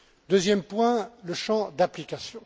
Deuxième point, le champ d'application.